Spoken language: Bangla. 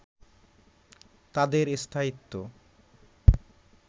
তাদের স্থায়িত্ব